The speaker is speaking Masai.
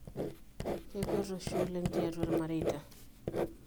Kekwet oshi oleng tiatua ilmareita.